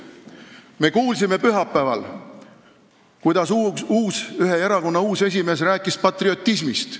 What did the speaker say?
Me kuulsime pühapäeval, kuidas ühe erakonna uus esimees rääkis patriotismist.